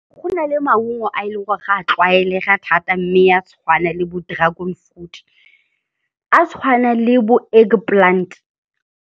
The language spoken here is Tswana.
Go na le maungo a e leng gore ga a tlwaelega thata mme a tshwana le bo dragon fruit, a tshwana le bo egg plant.